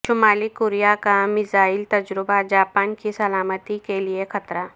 شمالی کوریا کا میزائل تجربہ جاپان کی سلامتی کے لئے خطرہ